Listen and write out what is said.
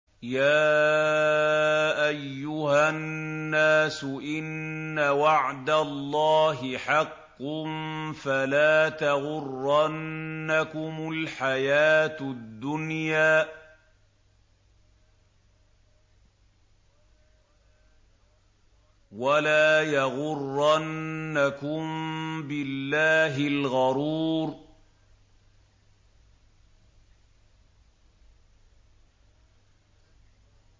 يَا أَيُّهَا النَّاسُ إِنَّ وَعْدَ اللَّهِ حَقٌّ ۖ فَلَا تَغُرَّنَّكُمُ الْحَيَاةُ الدُّنْيَا ۖ وَلَا يَغُرَّنَّكُم بِاللَّهِ الْغَرُورُ